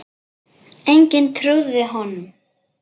Enginn trúði honum.